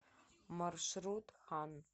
маршрут хан